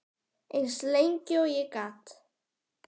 Eins lengi og ég gat.